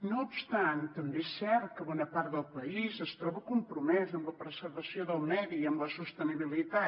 no obstant també és cert que bona part del país es troba compromesa amb la preservació del medi i amb la sostenibilitat